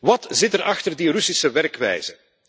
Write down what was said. Wat zit er achter die Russische werkwijze?